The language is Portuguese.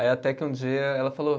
Aí até que um dia ela falou